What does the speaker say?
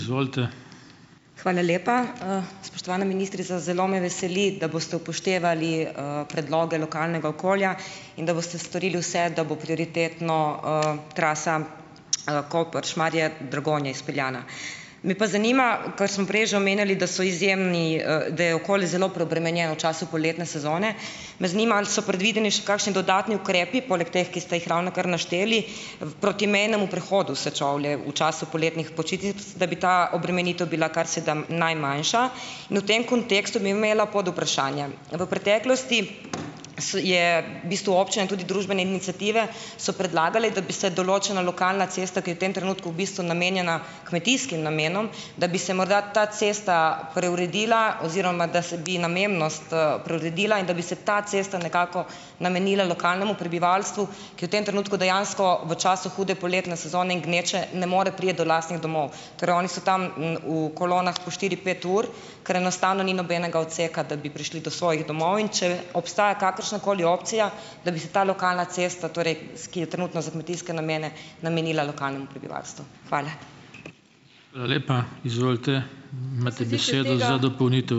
Hvala lepa, Spoštovana ministrica, zelo me veseli, da boste upoštevali, predloge lokalnega okolja in da boste storili vse, da bo prioritetno, trasa, Koper-Šmarje-Dragonja izpeljana. Me pa zanima, kar sem prej že omenjali, da so izjemni, da je okolje zelo preobremenjeno v času poletne sezone, me zanima, ali so predvideni še kakšni dodatni ukrepi, poleg teh, ki ste jih ravnokar našteli proti mejnemu prehodu Sečovlje, v času poletnih počitnic, da bi ta obremenitev bila kar se da najmanjša? In v tem kontekstu bi imela podvprašanja, v preteklosti je v bistvu občina in tudi družbene iniciative, so predlagale, da bi se določena lokalna cesta, ki je v tem trenutku v bistvu namenjena kmetijskim namenom, da bi se morda ta cesta preuredila oziroma da se bi namembnost, preuredila in da bi se ta cesta nekako namenila lokalnemu prebivalstvu, ki v tem trenutku dejansko, v času hude poletne sezone in gneče, ne more priti do lastnih domov. Torej, oni so tam, v kolonah po štiri, pet ur, kar enostavno ni nobenega odseka, da bi prišli do svojih domov, in če obstaja kakršna koli opcija, da bi se ta lokalna cesta, torej, ki je trenutno za kmetijske namene, namenila lokalnemu prebivalstvu? Hvala.